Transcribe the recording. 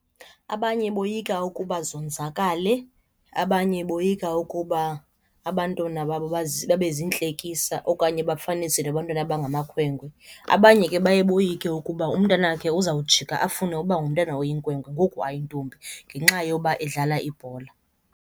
Abanye boyika ukuba zonzakale, abanye boyika ukuba abantwana babo babe ziintlekisa okanye bafaniswe nabantwana abangamakhwenkwe. Abanye ke baye boyike ukuba umntanakhe uzawujika afune uba ngumntana oyinkwenkwe ngoku ayintombi ngenxa yoba edlala ibhola.